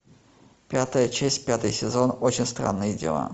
пятая часть пятый сезон очень странное дело